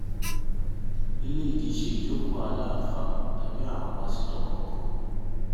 eléyìí kì í ṣe ìjókòó aláàfáà tàbí àwọn pásítọ̀ kankan o